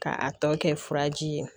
K'a tɔ kɛ furaji ye